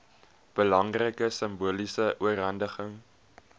belangrike simboliese oorhandiging